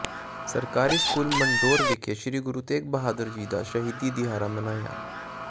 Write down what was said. ਸਰਕਾਰੀ ਸਕੂਲ ਮੰਡੌਰ ਵਿਖੇ ਸ੍ਰੀ ਗੁਰੂ ਤੇਗ਼ ਬਹਾਦਰ ਜੀ ਦਾ ਸ਼ਹੀਦੀ ਦਿਹਾੜਾ ਮਨਾਇਆ